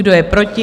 Kdo je proti?